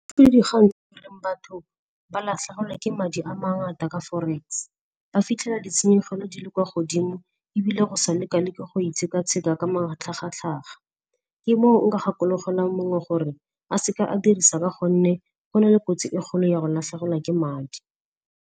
Batho ba latlhegelwa ke madi a mangata ka forex, ba fitlhela ditshenyegelo di le kwa godimo ebile go sa leka le ke go itshekatsheka ka matlhagatlhaga. Ke moo nka gakologela mongwe gore a seke a dirisa ka gonne go na le kotsi e kgolo ya go latlhegelwa ke madi.